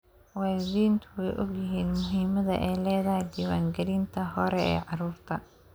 Waalidiintu way ogyihiin muhiimadda ay leedahay diiwaangelinta hore ee carruurta.